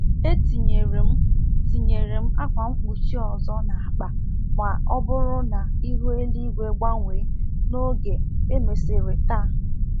E tinyere m tinyere m akwa mkpuchi ọzọ n'akpa ma ọ bụrụ na ihu eligwe gbanwee n'oge e mesịrị taa.